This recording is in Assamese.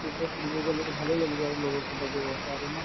যেতিয়া ফুৰিব গ'লো to ভালেই লাগিব আৰু লগৰ কেইটা গৈ আছে আৰু ন